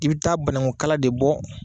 I bi taa banakukala de bɔ.